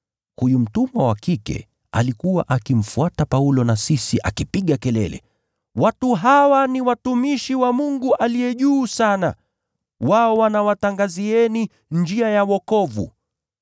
Huyu msichana alikuwa akimfuata Paulo na sisi akipiga kelele, “Watu hawa ni watumishi wa Mungu Aliye Juu Sana, wao wanawatangazieni njia ya wokovu.”